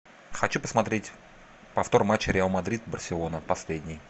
хочу посмотреть повтор матча реал мадрид барселона последний